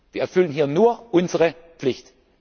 gibt. Wir erfüllen hier nur unsere Pflicht.